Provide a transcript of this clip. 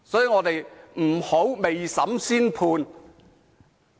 我們不應未審先判。